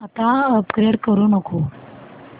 आता अपग्रेड करू नको